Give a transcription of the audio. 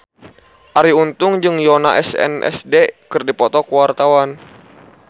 Arie Untung jeung Yoona SNSD keur dipoto ku wartawan